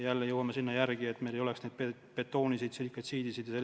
Jälle jõuame sinna, et meil ei oleks neid betooniseid ja silikaltsiidiseid kohti.